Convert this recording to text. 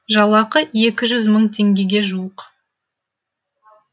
жалақы екі жүз мың теңгеге жуық